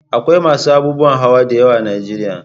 Akwai masu abubuwan hawa da yawa a Najeriya.